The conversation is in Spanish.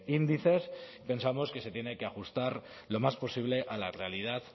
índices pensamos que se tiene que ajustar lo más posible a la realidad